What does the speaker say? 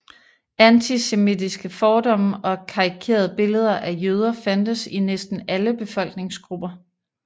Antisemitiske fordomme og karikerede billeder af jøder fandtes i næsten alle befolkningsgrupper